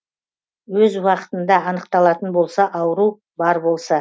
өз уақытында анықталатын болса ауру бар болса